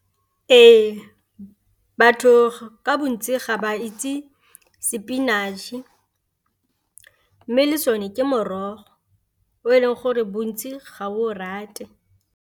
Ee, batho ka bontsi ga ba itse spinach, mme le sone ke morogo o e leng gore bontsi ga o rate.